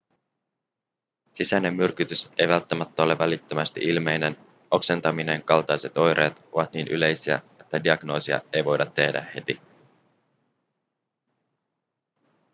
sisäinen myrkytys ei välttämättä ole välittömästi ilmeinen oksentaminen kaltaiset oireet ovat niin yleisiä että diagnoosia ei voida tehdä heti